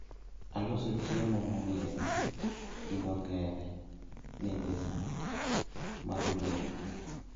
Aloso chiemo mong'ere gi dho ng'ere ni "dessert" mar olemo